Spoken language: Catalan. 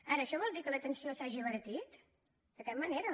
ara això vol dir que l’atenció s’hagi abaratit de cap manera